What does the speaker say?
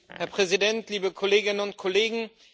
Herr Präsident, liebe Kolleginnen und Kollegen!